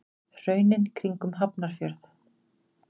Hraunin kring um Hafnarfjörð.